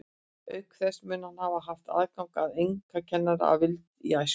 Auk þess mun hann hafa haft aðgang að einkakennurum að vild í æsku.